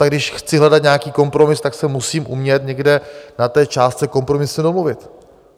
Tak když chci hledat nějaký kompromis, tak se musím umět někde na té částce kompromisu domluvit.